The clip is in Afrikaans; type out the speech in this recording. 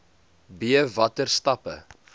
b watter stappe